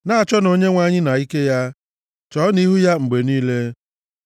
Na-achọnụ Onyenwe anyị na ike ya, chọọnụ ihu ya mgbe niile.